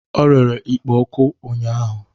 O rere ikpo oku ụnyahụ